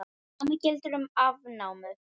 Sama gildir um afnámu.